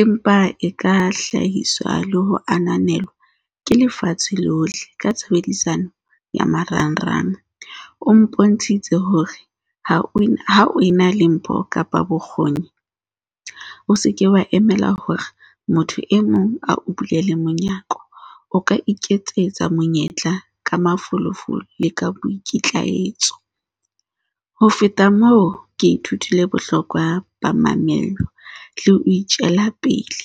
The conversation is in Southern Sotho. Empa e ka hlahiswa le ho ananelwa ke lefatshe lohle ka tshebedisano ya marangrang. O mpontshitse hore ha o ha o na le mpho kapa bokgoni, o se ke wa emela hore motho e mong a o bulele monyako, o ka iketsetsa monyetla ka mafolofolo le ka boikitlaetso. Ho feta moo, ke ithutile bohlokwa ba mamello le ho itjela pele